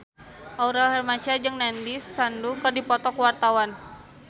Aurel Hermansyah jeung Nandish Sandhu keur dipoto ku wartawan